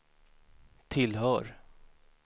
tillhör